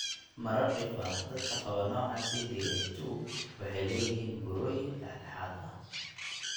Marar dhif ah, dadka qaba nooca CDA II waxay leeyihiin burooyin dhexdhexaad ah.